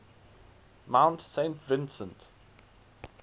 mount saint vincent